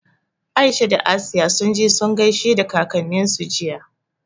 Aisha da Asiya sun je sun gaishe da kakanninsu jiya.